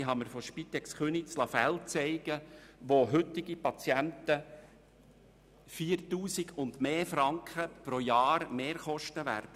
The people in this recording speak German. Ich liess mir von der Spitex Köniz Fälle zeigen, wo Patienten Mehrkosten in der Höhe von 4000 Franken und mehr pro Jahr haben werden.